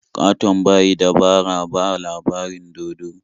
Ƙaton ba yi dabara ba a labarin dodo.